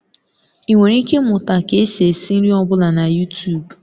Ị nwere ike ịmụta ka esi esị nri ọ bụla na yutub